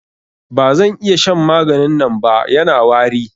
Ba zan iya shan maganin nan ba, Yana wari.